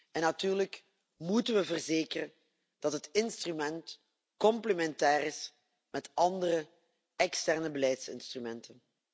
En natuurlijk moeten we verzekeren dat het instrument complementair is met andere externe beleidsinstrumenten.